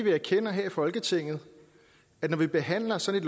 vi erkender her i folketinget at når vi behandler sådan